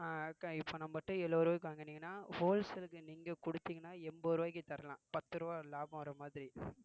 அஹ் இப்ப நம்மட்ட எழுவது ரூவாய்க்கு வாங்குனீங்கன்னா wholesale நீங்க கொடுத்தீங்கன்னா எண்பது ரூபாய்க்கு தரலாம் பத்து ரூபாய் லாபம் வர்ற மாதிரி